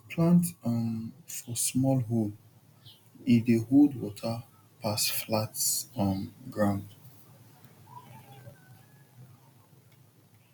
plant um for small hole e dey hold water pass flat um ground